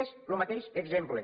és lo mateix exemple